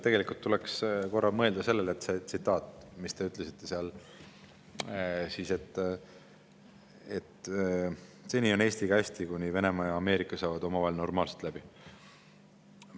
Tegelikult tuleks korra mõelda sellele, mis te ütlesite, et seni on Eestiga hästi, kuni Venemaa ja Ameerika saavad omavahel normaalselt läbi.